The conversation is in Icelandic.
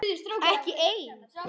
Ekki ein?